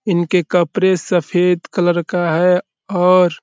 इनके कपरे सफ़ेद कलर का है और --